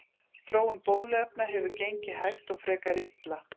Þróun bóluefna hefur gengið hægt og frekar illa.